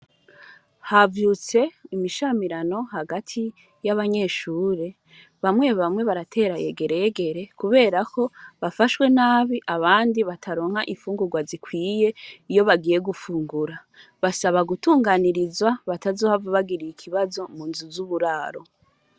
Havyutse imishamirano hagati yabanyeshure , bamwe bamwe baratera egeregere kubera ko bafashwe nabi abandi nabo bataronka imfugurwa zikwiye iyo bagiye gufungura, basaba gutunganirizwa batazohava bagira ikibazo munzu z’uburaro.